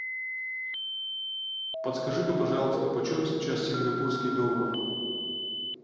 подскажи ка пожалуйста почем сейчас сингапурский доллар